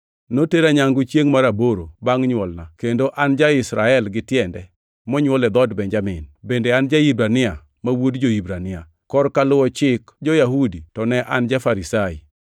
Notera nyangu chiengʼ mar aboro bangʼ nywolna kendo an ja-Israel gitiende monywol e dhood Benjamin, bende an ja-Hibrania ma wuod jo-Hibrania. Korka luwo Chik jo-Yahudi to ne an ja-Farisai,